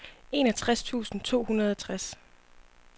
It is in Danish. enogtres tusind to hundrede og tres